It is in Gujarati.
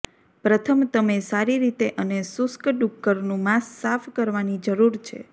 પ્રથમ તમે સારી રીતે અને શુષ્ક ડુક્કરનું માંસ સાફ કરવાની જરૂર છે